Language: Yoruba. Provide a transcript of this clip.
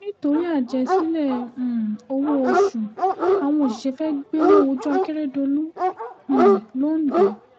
nítorí àjẹsílẹ̀ um owó-oṣù àwọn òṣìṣẹ́ fẹ́ẹ́ gbéná wójú akérèdọ́lù um londo